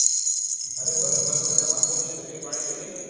અરે બસ બસ મજામાં કેમ છે તબિયત પાણી ready ને